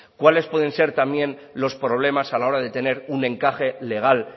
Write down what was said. cuáles pueden ser también los problemas a la hora de tener un encaje legal